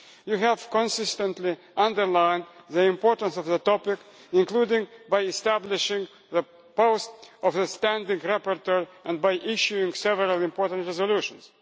You have consistently underlined the importance of the topic, including by establishing the post of standing rapporteur and by issuing several important resolutions.